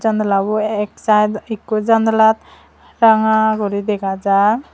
janalabu ek side ekku janalat ranga guri dega jar.